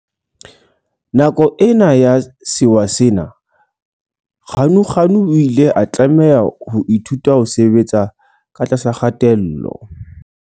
Nako ena ya sewa sena Ganuganu o ile a tlameha ho ithuta ho sebetsa ka tlasa kgatello.